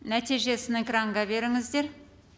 нәтижесін экранға беріңіздер